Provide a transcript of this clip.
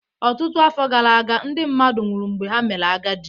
Ọtụtụ afọ gara aga, ndị mmadụ nwụrụ mgbe ha mere agadi